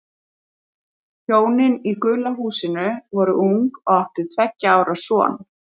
Hjónin í gula húsinu voru ung og áttu tveggja ára son.